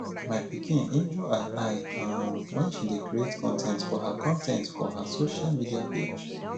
my pikin injure her eye um wen she dey create con ten t for her con ten t for her social media page